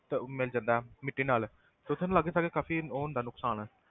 ਤੇ ਮਿਲ ਜਾਂਦਾ ਹੈ ਮਿੱਟੀ ਨਾਲ ਤੇ ਉੱਥੇ ਨਾ ਲਾਗੇ ਸਾਗੇ ਕਾਫ਼ੀ ਉਹ ਹੁੰਦਾ ਨੁਕਸਾਨ।